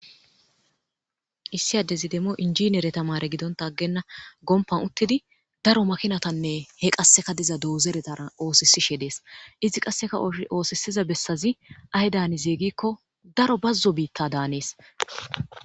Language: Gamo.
issi adezi demmo injiniyere tamare gidonta aggenna gompan uttidi daro makinatanne he qasseka diza doozeretara oosisishe dees izi qasseka oosisiza bessazi ahe daanize gikko daro bazzo biitta daanees